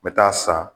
N bɛ taa san